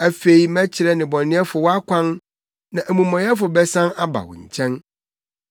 Afei mɛkyerɛ nnebɔneyɛfo wʼakwan, na amumɔyɛfo bɛsan aba wo nkyɛn.